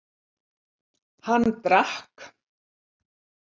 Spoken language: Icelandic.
Hann drakk.